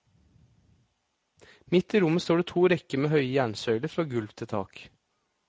Midt i rommet står det to rekker med høye jernsøyler fra gulv til tak.